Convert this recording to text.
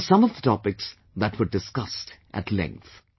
were some of the topics that were discussed at length